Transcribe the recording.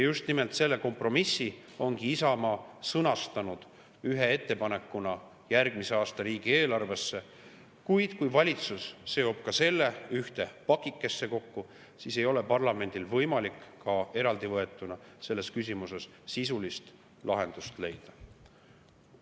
Just nimelt selle kompromissi ongi Isamaa sõnastanud ühe ettepanekuna järgmise aasta riigieelarve, kuid kui valitsus seob selle ühte pakikesse kokku, siis ei ole parlamendil võimalik ka eraldivõetuna selles küsimuses sisulist lahendust leida.